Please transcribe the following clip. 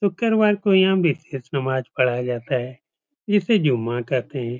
शुक्रवार को यहाँ नमाज पढ़ाया जाता है जिसे जुम्मा कहा जाता है।